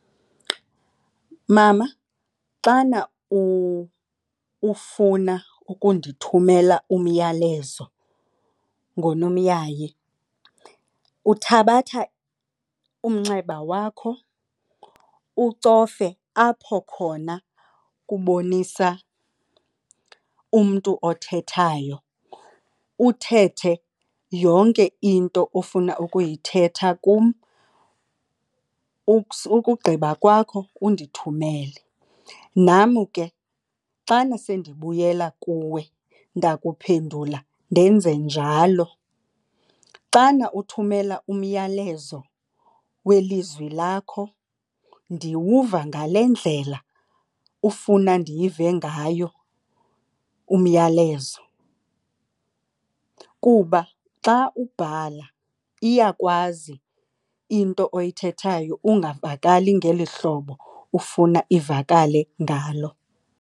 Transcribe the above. Mama, xana ukufuna ukundithumele umyalezo ngonomyayi, uthabatha umnxeba wakho ucofe apho khona kubonisa umntu othethayo, uthethe yonke into ofuna ukuyithetha kum. Ukugqiba kwakho undithumele, nam ke xana sendibuyela kuwe ndakuphendula ndenze njalo. Xana uthumela umyalezo welizwi lakho ndiwuva ngale ndlela ufuna ndiyive ngayo umyalezo. Kuba xa ubhala iyakwazi into oyithethayo ungavakali ngeli hlobo ufuna ivakale ngalo.